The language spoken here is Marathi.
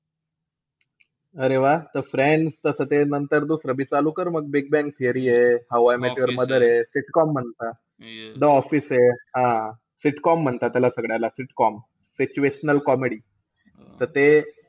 अरे वाह त friends तसं ते नंतर दुसरं बी चालू कर म. बिग बॅंग थिअरी आहे. How I Met Your Mother आहे. Sitcom म्हणता, द ऑफिस आहे. हां. Sitcom म्हणता त्याला सगळ्याला sitcom situational comedy